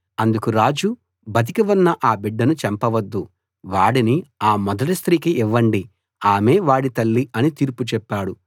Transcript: అందుకు రాజు బతికి ఉన్న ఆ బిడ్డను చంపవద్దు వాడిని ఆ మొదటి స్త్రీకి ఇవ్వండి ఆమే వాడి తల్లి అని తీర్పు చెప్పాడు